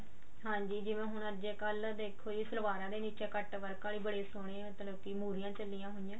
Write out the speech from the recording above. ਹਾਂਜੀ ਜਿਵੇਂ ਹੁਣ ਅੱਜਕਲ ਦੇਖੋ ਜੀ ਸਲਵਾਰਾਂ ਦੇ ਵਿੱਚ cut work ਆਲੀ ਬੜੀ ਸੋਹਣੀ ਮਤਲਬ ਕਿ ਮੁਹਰੀਆਂ ਚੱਲੀਆਂ ਹੋਈਆਂ